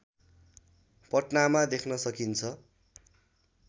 पटनामा देख्न सकिन्छ